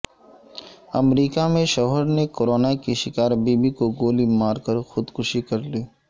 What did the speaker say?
امریکہ میں شوہر نے کورونا کی شکار بیوی کو گولی مارکر خودکشی کرلی